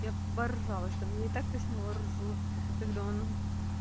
я оборжалась там я и так-то с него ржу когда он